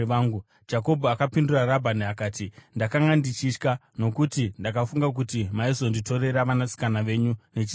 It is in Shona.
Jakobho akapindura Rabhani akati, “Ndakanga ndichitya, nokuti ndakafunga kuti maizonditorera vanasikana venyu nechisimba.